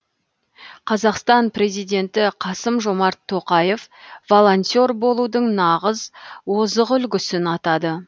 қазақстан президенті қасым жомарт тоқаев волонтер болудың нағыз озық үлгісін атады